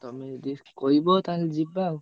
ତମୁକୁ କହିବ ତାହେଲେ ଯିବା ଆଉ।